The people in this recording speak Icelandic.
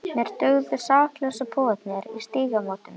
Mér dugðu saklausu púðarnir í Stígamótum!